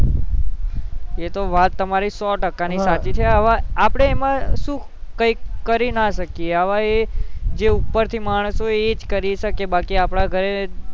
એતો તમારી સૌ ટકા ની વાત સાચી છે આપડે એમાં શું કંઈક કરીન શકીએ અવ એ ઉપર થી માણસ ઓ હોય એજ કરી શકે બાકી આપડા ઘરે